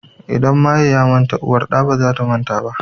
In maye ya manta uwar ɗa baza ta manta ba